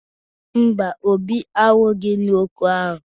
Mba, Obi anwụghị n'okwu ahụ